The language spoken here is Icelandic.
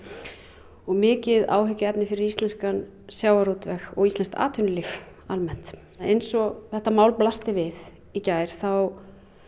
og mikið áhyggjuefni fyrir íslenskan sjávarútveg og íslenskt atvinnulíf almennt eins og þetta mál blasti við í gær þá